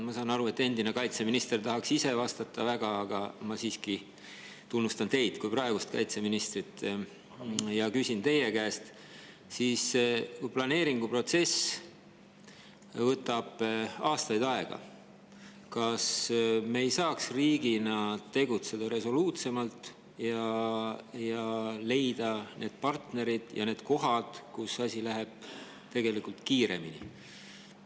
Ma saan aru, et endine kaitseminister tahaks väga ise vastata, aga ma siiski tunnustan teid kui praegust kaitseministrit ja küsin teie käest: kui planeeringuprotsess võtab aastaid aega, kas me ei saaks riigina tegutseda resoluutsemalt ja leida need partnerid ja need kohad, kus asi läheb tegelikult kiiremini?